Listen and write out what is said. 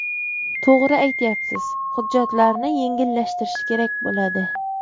To‘g‘ri aytyapsiz, hujjatlarni yengillashtirish kerak bo‘ladi.